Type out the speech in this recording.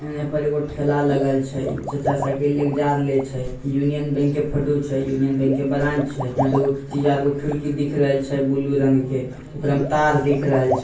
ए पर ठेला लगल छै चचा साइकिल ल के जाय रहल छै यूनियन बैंक के फोटो छै यूनियन बैंक के ब्रांच छै इहां दू गो तीन गो खिड़की दिख रहल छै बुलू रंग के ओकरा में तार दिख रहल छै।